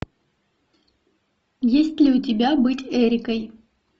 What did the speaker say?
есть ли у тебя быть эрикой